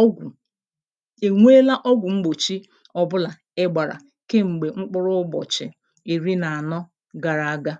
ọgwụ̀ e nweela ọgwụ̀ mgbòchi ọbụlà ị gbàrà kem̀gbè mkpụrụ ụbọ̀chị̀ ìri nà ànọ gàrà aga?